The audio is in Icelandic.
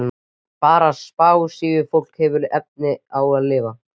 Bara spássíufólk hefur efni á að lifa.